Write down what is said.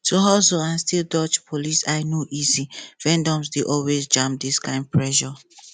to hustle and still dodge police eye no easy vendors dey always jam this kind pressure